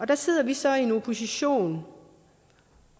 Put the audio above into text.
der sidder vi så i en opposition